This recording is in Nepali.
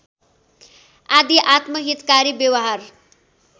आदि आत्महितकारी व्यवहार